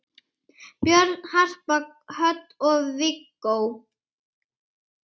Börn: Harpa Hödd og Viggó.